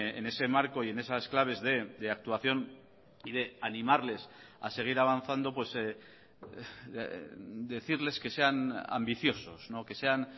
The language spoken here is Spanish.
en ese marco y en esas claves de actuación y de animarles a seguir avanzando decirles que sean ambiciosos que sean